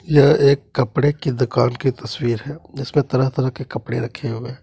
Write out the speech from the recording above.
यह एक कपड़े के दुकान की तस्वीर है जिसमें तरह तरह के कपड़े रखे हुए हैं।